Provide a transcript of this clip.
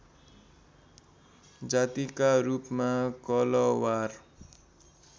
जातिका रूपमा कलवार